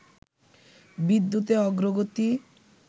বিদ্যুতে অগ্রগতি